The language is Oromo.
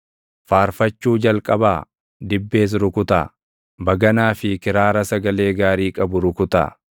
Faarfachuu jalqabaa; dibbees rukutaa; baganaa fi kiraara sagalee gaarii qabu rukutaa.